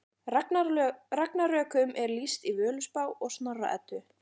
Ragnarökum er lýst í Völuspá og Snorra Eddu.